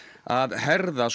að herða